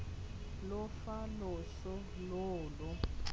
lo fa loso loo lo